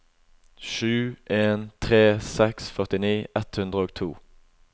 sju en tre seks førtini ett hundre og to